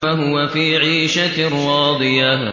فَهُوَ فِي عِيشَةٍ رَّاضِيَةٍ